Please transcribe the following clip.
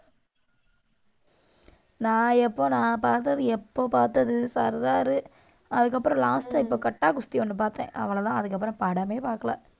நான் எப்போ நான் பார்த்தது, எப்போ பார்த்தது சர்தாரு, அதுக்கப்புறம் last ஆ இப்ப கட்டா குஸ்தி ஒண்ணு பார்த்தேன். அவ்வளவுதான், அதுக்கப்புறம் படமே பார்க்கல.